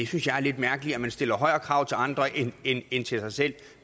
synes jeg er lidt mærkeligt man stiller højere krav til andre end til sig selv